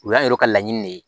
O y'an yɛrɛ ka laɲini de ye